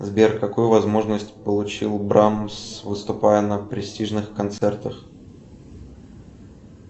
сбер какую возможность получил брамс выступая на престижных концертах